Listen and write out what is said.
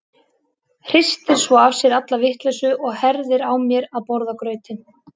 Hristir svo af sér alla vitleysu og herðir á mér að borða grautinn.